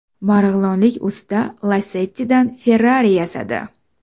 Marg‘ilonlik usta Lacetti’dan Ferrari yasadi .